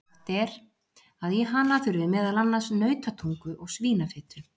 Sagt er að í hana þurfi meðal annars nautatungu og svínafitu.